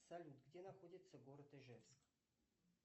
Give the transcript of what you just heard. салют где находится город ижевск